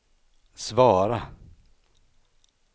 svara